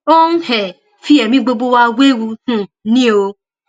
ó ń um fi ẹmí gbogbo wa wewu um ni o